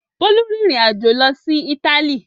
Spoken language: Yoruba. Bólú rìnrìn-àjò lọ sí Ítálì?